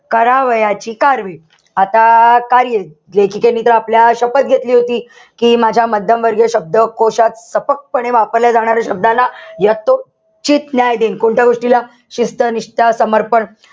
करावयाची आता काय लेखिकेने तर आपल्या शपथ घेतली होती. कि माझ्या मध्यम वर्गीय शब्दकोशात पणे वापरल्या जाणाऱ्या शब्दांना यथोचित न्याय देईन. कोणत्या गोष्टीला शिस्त, निष्ठा, समर्पण.